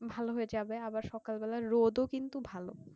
ভালো হয় যাবে আবার সকাল বেলার রোদও কিন্তু ভালো